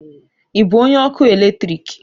Ị bụ onye ọkụ eletrik?